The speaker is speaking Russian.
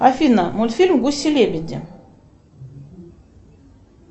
афина мультфильм гуси лебеди